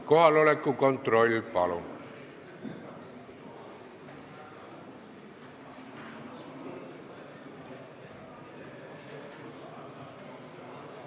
Kohaloleku kontroll, palun!